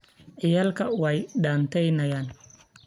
Ciyalka waay dhanteynayan.